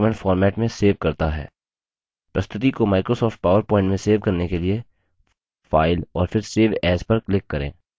प्रस्तुति को Microsoft power point में सेव करने के लिए file और फिर save as पर क्लिक करें